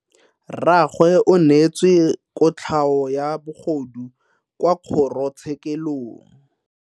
Rragwe o neetswe kotlhao ya bogodu kwa kgoro tshekelong.